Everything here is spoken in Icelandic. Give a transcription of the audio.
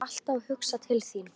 Ég var alltaf að hugsa til þín.